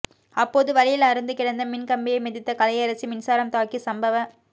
அப்போது வழியில் அறுந்து கிடந்த மின் கம்பியை மிதித்த கலையரசி மின்சாரம் தாக்கி சம்பவ